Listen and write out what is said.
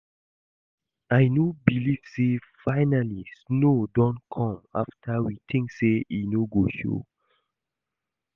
I no believe say finally snow don come after we think say e no go show